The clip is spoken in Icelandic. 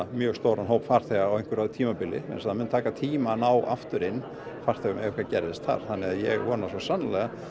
mjög stóran hóp farþega á einhverju tímabili þess að það mun taka tíma að ná aftur inn farþegum ef eitthvað gerðist þar þannig að ég vona svo sannarlega